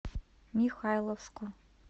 михайловску